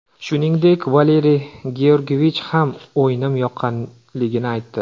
Shuningdek, Valeriy Georgiyevich ham o‘yinim yoqqanligini aytdi.